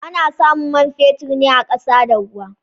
Ana samun man fetur ne a ƙasa da ruwa.